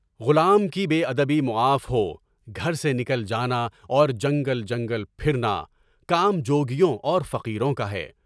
غلام کی بے ادبی معاف ہو، گھر سے نکل جانا اور جنگل جنگل پھرنا، کام جو گیوں اور فقیروں کا ہے۔